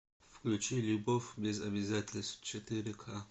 включи любовь без обязательств четыре ка